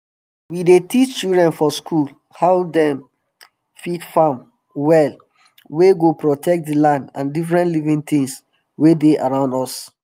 we dey teach children for school how dem fit farm well wey go protect d land and different living tins wey dey around us